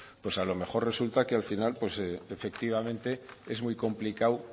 a lo mejor resulta que al final efectivamente es muy complicado